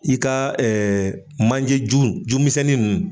I ka manje ju ju misɛnnin ninnu